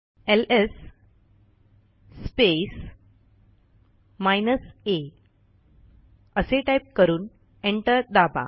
LS space minus आ असे type करून एंटर दाबा